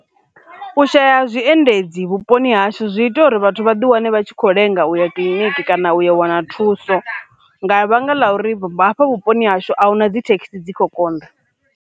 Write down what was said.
U shaya ha zwiendedzi vhuponi hashu zwi ita uri vhathu vha ḓi wane vha tshi kho lenga u ya kiḽiniki kana u ya wana thuso, nga vhanga ḽa uri vha afha vhuponi hashu ahuna dzithekhisi dzi kho konḓa.